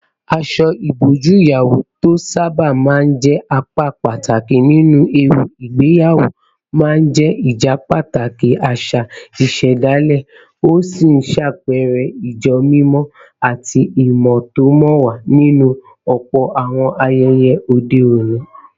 Aṣọ ìbòjú ìyàwó, tó sábà máa ń jẹ́ apá pàtàkì nínú ẹ̀wù ìgbéyàwó, máa ń jẹ́ ìjẹ́pàtàkì àṣà ìṣẹ̀dálẹ̀, ó sì ń ṣàpẹẹrẹ ìjẹ́mímọ́ àti ìmẹ̀tọ́mọ̀wà nínú ọ̀pọ̀ àwọn ayẹyẹ òde òní.